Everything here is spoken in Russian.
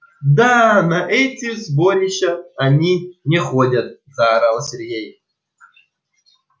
да на эти сборища они не ходят заорал сергей